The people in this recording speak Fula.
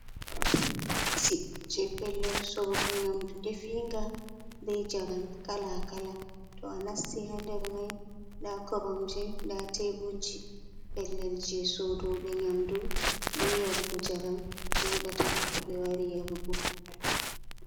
je pellel soɗugo nyamdu nɗefinga be jaram kalakala. To a nasti hander mai ɗa koromji da teburji. Pellel je soodugo nyamdu be yarugo njaram jodata to be wari yarugo.